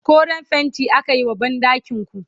koren fainti akayi wa banɗakinku